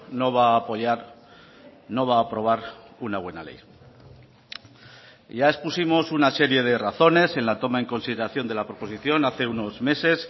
no va a apoyar no va a aprobar una buena ley y ya expusimos una serie de razones en la toma en consideración de la proposición hace unos meses